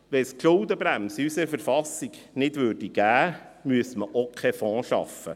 Gäbe es die Schuldenbremse in unserer Verfassung nicht, müsste man auch keinen Fonds schaffen.